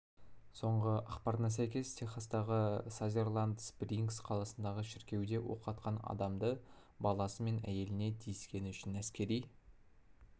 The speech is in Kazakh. соңғы ақпарына сәйкес техастағы сазерленд-спрингс қаласындағы шіркеуде оқ атқан адамды баласы мен әйеліне тиіскені үшін әскери